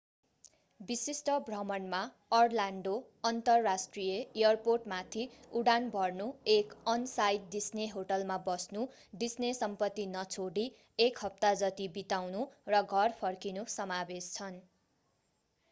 विशिष्ट भ्रमणमा अर्लान्डो अन्तर्राष्ट्रिय एयरपोर्टमाथि उडान भर्नु एक अन-साइट डिस्ने होटलमा बस्नु डिस्ने सम्पत्ती नछोडि एक हप्ता जति बिताउनु र घर फर्किनु समावेश छन्